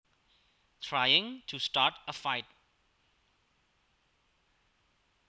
Trying to start a fight